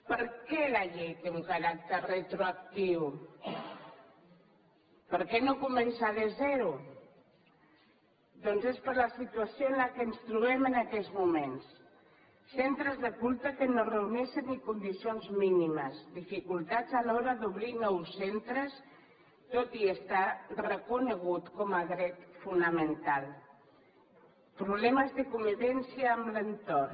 per què la llei té un caràcter retroactiu per què no començar de zero doncs és per la situació en què ens trobem en aquests moments centres de culte que no reuneixen ni condicions mínimes dificultats a l’hora d’obrir nous centres tot i estar reconegut com a dret fonamental problemes de convivència amb l’entorn